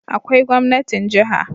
Akwai gwamnatin jiha